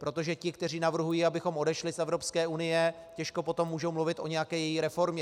Protože ti, kteří navrhují, abychom odešli z Evropské unie, těžko potom můžou mluvit o nějaké její reformě.